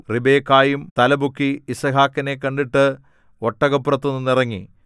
റിബെക്കായും തലപൊക്കി യിസ്ഹാക്കിനെ കണ്ടിട്ട് ഒട്ടകപ്പുറത്തുനിന്ന് ഇറങ്ങി